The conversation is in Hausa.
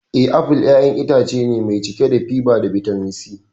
Na'am, apple ƴaƴan itace ne mai cike da fiber da bitamin C.